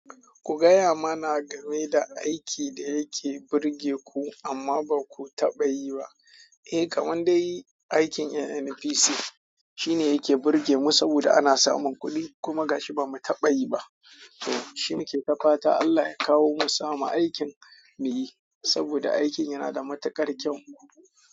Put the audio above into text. Ku gaya mana game da aikin da yake burge ku amma ba ku taɓa yi ba. Eh, kamandau aikin NNPC shine yake burge mu saboda ana samun kuɗi kuma gashi ba mu taɓa yi ba. To shi muke ta fata Allah ya kawo mu samu aikin muyi saboda aikin yana da matuƙar kyau.